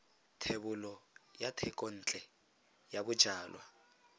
thebolo ya thekontle ya bojalwa